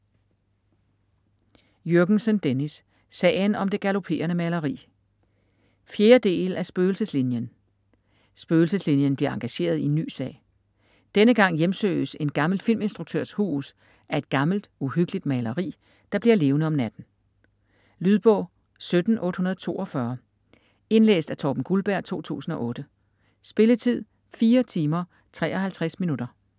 Jürgensen, Dennis: Sagen om det galoperende maleri 4. del af Spøgelseslinien. Spøgelseslinien bliver engageret i en ny sag. Denne gang hjemsøges en gammel filminstruktørs hus af et gammelt, uhyggeligt maleri, der bliver levende om natten. Lydbog 17842 Indlæst af Torben Guldberg, 2008. Spilletid: 4 timer, 53 minutter.